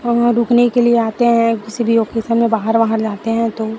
वहाँ रुकने के लिए आते है किसी भी लोकेशन में बाहर- वाहर जाते है तो --